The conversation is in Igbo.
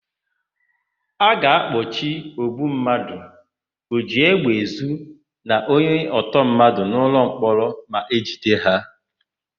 A ga-akpọchi ogbummadụ, ojiégbèezu na onyentọmmadụ n'ụlọmkpọrọ ma e jide ha.